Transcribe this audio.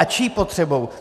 A čí potřebou?